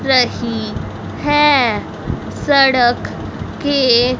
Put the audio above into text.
रही है सड़क के--